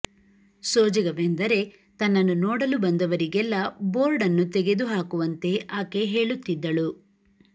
ಸೋಜಿಗವೆಂದರೆ ತನ್ನನ್ನು ನೋಡಲು ಬಂದವರಿಗೆಲ್ಲ ಬೋರ್ಡ್ ಅನ್ನು ತೆಗೆದು ಹಾಕುವಂತೆ ಆಕೆ ಹೇಳುತ್ತಿದ್ದಳು